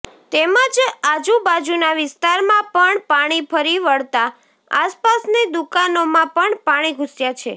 તેમજ આજુ બાજુના વિસ્તારમાં પણ પાણી ફરી વળતા આસપાસની દુકાનોમા પણ પાણી ઘૂસ્યા છે